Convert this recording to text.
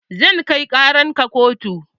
Zan kai ƙaran ka kotu